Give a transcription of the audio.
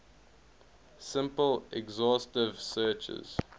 simple exhaustive searches